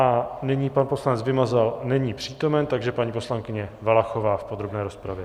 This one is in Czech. A nyní - pan poslanec Vymazal není přítomen, takže paní poslankyně Valachová v podrobné rozpravě.